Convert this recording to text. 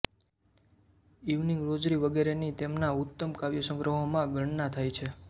evening rosary વગેરેની તેમના ઉત્તમ કાવ્યસંગ્રહોમાં ગણના થાય છે